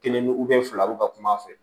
Kelen ni fila bɛ ka kum'a fɛ